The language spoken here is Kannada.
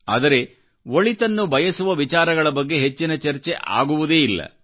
ಆದರೆ ಒಳಿತನ್ನು ಬಯಸುವ ವಿಚಾರಗಳ ಬಗ್ಗೆ ಹೆಚ್ಚಿನ ಚರ್ಚೆ ಆಗುವುದೇ ಇಲ್ಲ